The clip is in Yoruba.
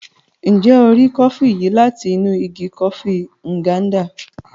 Njẹ o rí kọfi yìí láti inú ìgi kọfi Nganda?